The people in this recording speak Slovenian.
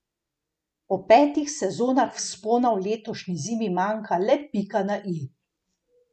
Po petih sezonah vzpona v letošnji zimi manjka le pika na i.